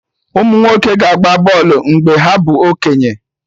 Umunwoke ga-agba bọlụ mgbe ha bụ okenye